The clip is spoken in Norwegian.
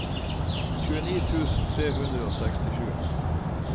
tjueni tusen tre hundre og sekstisju